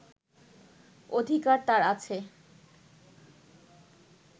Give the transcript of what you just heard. অধিকার তাঁর আছে